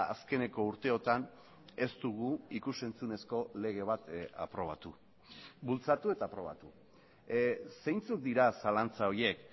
azkeneko urteotan ez dugu ikus entzunezko lege bat aprobatu bultzatu eta aprobatu zeintzuk dira zalantza horiek